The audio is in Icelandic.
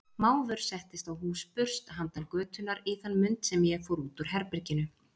Mávur settist á húsburst handan götunnar í þann mund sem ég fór út úr herberginu.